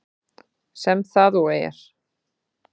Sem það og er.